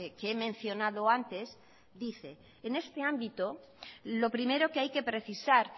que he mencionado antes dice en este ámbito lo primero que hay que precisar